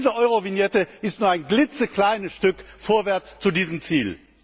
Diese Eurovignette ist nur ein klitzekleines Stück vorwärts zu diesem Ziel.